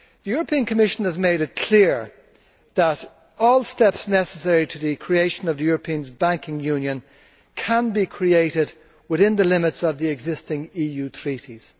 The European Commission has made it clear that all steps necessary for the creation of the European Banking Union can be created within the limits of the existing EU treaties.